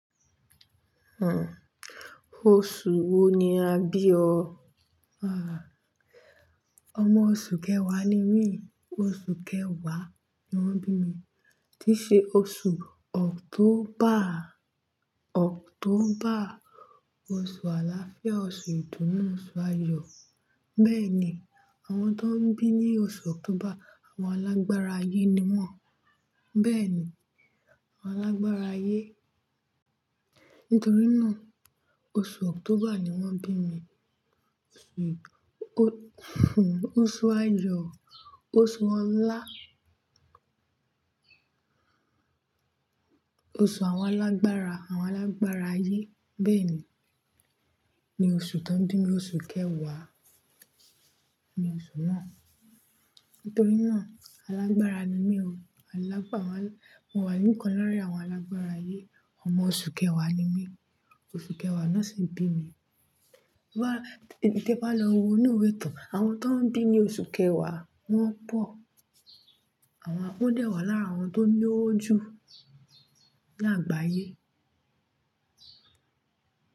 Hmm. Oṣù wo ni a bí ọ? Àá. Ọmọ oṣù kẹwàá ni mí. Oṣù kẹwàá ni wọ́n bí mi. Tí ṣe oṣù October. October, oṣù àlàáfíà, oṣù ìdùnnú, oṣù ayọ̀. Bẹ́ẹ̀ ni, àwọn tó ń bí ní oṣù October, àwọn alágbára ayé ni wọ́n. Bẹ́ẹ̀ ni, àwọn alágbára ayé. Nítorí náà, oṣù October ni wọ́n bí mi. Oṣù, oṣù ayọ̀, oṣù ọlá oṣù àwọn alágbára, àwọn alágbára ayé. Bẹ́ẹ̀ ni, ni oṣù tań bí mi. Oṣù kẹwàá ni oṣù náà. Nítorí náà, alágbára ni mí o. Mo wà níkàn láàrín àwọn alágbára ayé. Ọmọ oṣù kẹwàá ni mí. Oṣù kẹwàá náà sì ń bí mi. Tí bá lọ wo inú ìwé ìtàn, àwọn tó ń bí ní oṣù kẹwàá, wọ́n pọ̀. Àwọn dẹ́wàá láàrín àwọn tó ní owó jù ní àgbáyé.